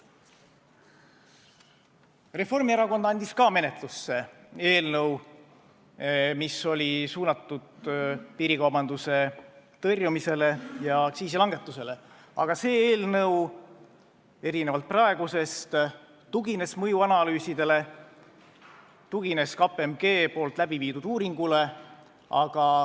Ka Reformierakond andis menetlusse eelnõu, mis oli suunatud piirikaubanduse tõrjumisele ja aktsiisi langetamisele, aga erinevalt praegu arutatavast eelnõust tugines see mõjuanalüüsidele, tugines KPMG läbi viidud uuringule.